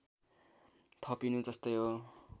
थपिनु जस्तै हो